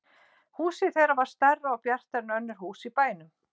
Húsið þeirra var stærra og bjartara en önnur hús í bænum.